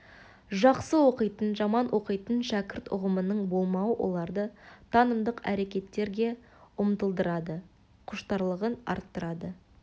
жақсы оқитын жаман оқитын шәкірт ұғымының болмауы оларды танымдық әрекеттерге ұмтылдырады құштарлығын арттырады